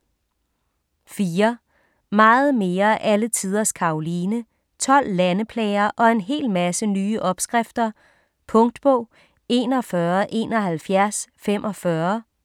4. Meget mere alle tiders Karoline: 12 landeplager og en hel masse nye opskrifter Punktbog 417145